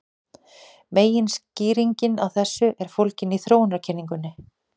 Meginskýringin á þessu er fólgin í þróunarkenningunni.